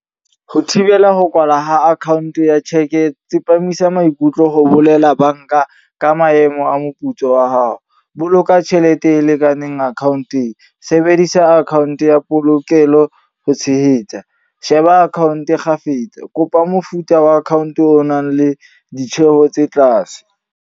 Ho thibela ho kwalwa ha account ya cheque, tsepamisa maikutlo ho bolela banka ka maemo a moputso wa hao. Boloka tjhelete e lekaneng account-eng. Sebedisa account ya polokelo ho tshehetsa. Sheba account kgafetsa. Kopa mofuta wa account o nang le ditjheho tse tlase.